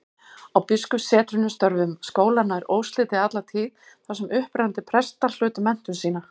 Á biskupssetrunum störfuðu skólar nær óslitið alla tíð, þar sem upprennandi prestar hlutu menntun sína.